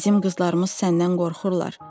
Bizim qızlarımız səndən qorxurlar.